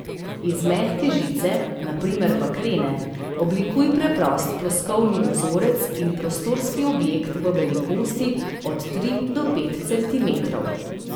Iz mehke žice, na primer bakrene, oblikuj preprost ploskovni vzorec in prostorski objekt v velikosti od tri do pet centimetrov.